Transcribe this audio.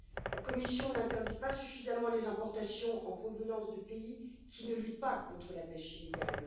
La Commission n'interdit pas suffisamment les importations en provenance de pays qui ne luttent pas contre la pêche illégale.